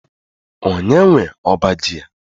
Onye nwe ọbá ji a?